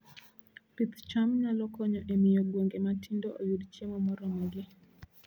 Pith cham nyalo konyo e miyo gwenge matindo oyud chiemo moromogi